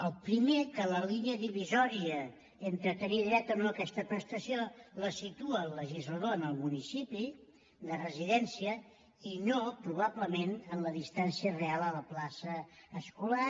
el primer que la línia divisòria entre tenir dret o no a aquesta prestació la situa el legislador en el municipi de residència i no probablement en la distància real a la plaça escolar